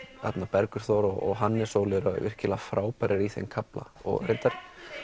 Bergur Þór og Hannes Óli eru virkilega frábærir í þeim kafla og reyndar